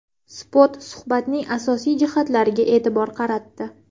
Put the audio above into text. Spot suhbatning asosiy jihatlariga e’tibor qaratdi .